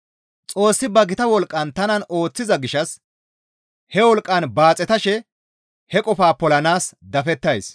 Xoossi ba gita wolqqan tanan ooththiza gishshas he wolqqaan baaxetashe he qofaa polanaas dafettays.